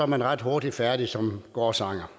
man ret hurtigt færdig som gårdsanger